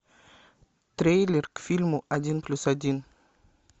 трейлер к фильму один плюс один